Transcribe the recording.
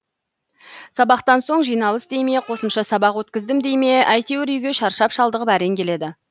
сабақтан соң жиналыс дей ме қосымша сабақ өткіздім дей ме әйтеуір үйге шаршап шалдығып әрең келеді